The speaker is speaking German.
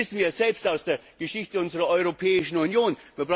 Das wissen wir selbst aus der Geschichte unserer Europäischen Union.